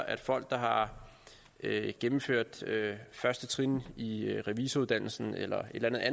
at folk der har gennemført første trin i revisoruddannelsen eller